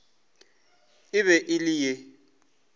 e be e le ye